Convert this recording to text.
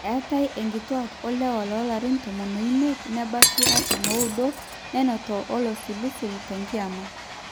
eetai inkituaak olewa loolarin tomon oimiet nebaiki artam ooudo nenoto olosilisil tenkiama